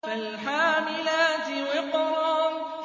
فَالْحَامِلَاتِ وِقْرًا